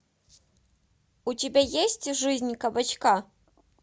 у тебя есть жизнь кабачка